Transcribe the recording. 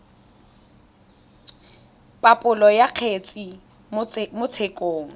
phaposo ya kgetse mo tshekong